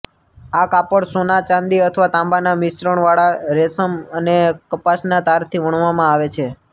આ કાપડ સોના ચાંદી અથવા તાંબાના મિશ્રણવાળા રેશમ અને કપાસના તારથી વણવામાં આવે છે